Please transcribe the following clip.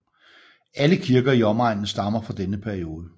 Alle kirker i omegnen stammer fra denne periode